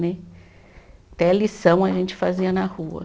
Né. Até a lição a gente fazia na rua.